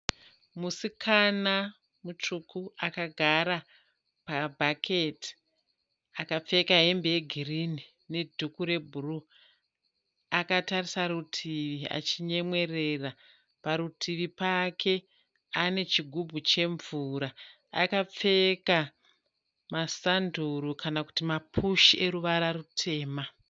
Musikana mutsvuku akagara pabhaketi. Akapfeka hembe yegirinhi nedhuku rebhuruu. Akatarisa rutivi achinyemwerera. Parutivi pake anechigubhu chemvura. Akapfeka masanduru kana kuti mapushi eruvara rutema.